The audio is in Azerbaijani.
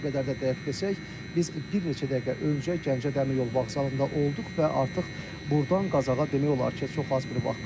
Bir qədər də dəqiq desək, biz bir neçə dəqiqə öncə Gəncə Dəmiryol Vağzalında olduq və artıq burdan Qazaxa demək olar ki, çox az bir vaxt qalıb.